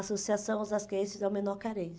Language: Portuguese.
Associação Osasquenses ao Menor Carente.